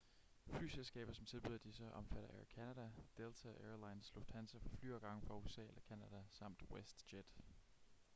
flyselskaber som tilbyder disse omfatter air canada delta air lines lufthansa for flyafgange fra usa eller canada samt westjet